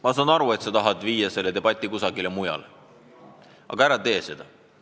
Ma saan aru, et sa tahad viia debatiteema kusagile mujale, aga ära tee seda.